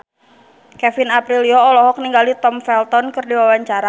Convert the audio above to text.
Kevin Aprilio olohok ningali Tom Felton keur diwawancara